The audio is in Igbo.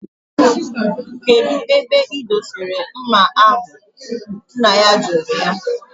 Kedu ebe idosiri mma ahu, nna ya juru ya?